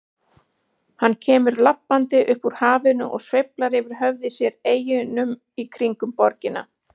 Hann kemur labbandi upp úr hafinu og sveiflar yfir höfði sér eyjunum í kringum borgina.